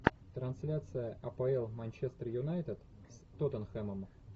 трансляция апл манчестер юнайтед с тоттенхэмом